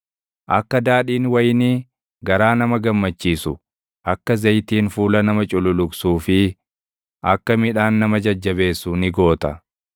akka daadhiin wayinii garaa nama gammachiisu, akka zayitiin fuula nama cululuqsuu fi akka midhaan nama jajjabeessu ni goota.